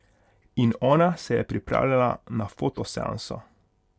In ona se je pripravljala na foto seanso.